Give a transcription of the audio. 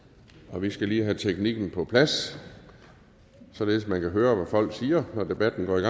og vi skal lige have teknikken på plads således at man kan høre hvad folk siger når debatten